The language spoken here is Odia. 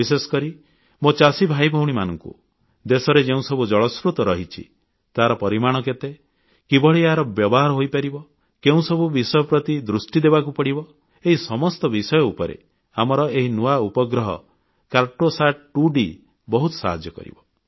ବିଶେଷକରି ମୋ ଚାଷୀ ଭାଇ ଭଉଣୀମାନଙ୍କୁ ଦେଶରେ ଯେଉଁସବୁ ଜଳସ୍ରୋତ ରହିଛି ତାହାର ପରିମାଣ କେତେ କିଭଳି ଏହାର ବ୍ୟବହାର ହୋଇପାରିବ କେଉଁସବୁ ବିଷୟ ପ୍ରତି ଦୃଷ୍ଟି ଦେବାକୁ ପଡ଼ିବ ଏହି ସମସ୍ତ ବିଷୟ ଉପରେ ଆମର ଏହି ନୂଆ ଉପଗ୍ରହ କାର୍ଟୋସାଟ୍ 2D ବହୁତ ସାହାଯ୍ୟ କରିବ